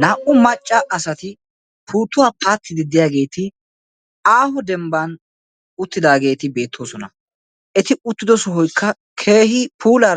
Naa'u maca asatti puttuwa paattiddi de'iyagetti issi dembba sohuwan uttiddosonna. Etti uttiddo sohoy keehi puulla